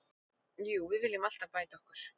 Jú, við viljum alltaf bæta okkur.